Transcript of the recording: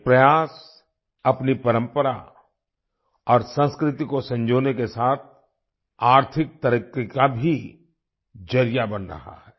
ये प्रयास अपनी परंपरा और संस्कृति को संजोने के साथ आर्थिक तरक्की का भी जरिया बन रहा है